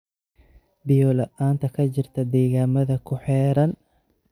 Biyo la'aanta ka jirta deegaanada ku xeeran.